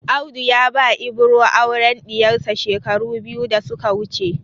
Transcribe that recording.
Audu ya ba Ibro auren ɗiyarsa shekaru biyu da suka wuce.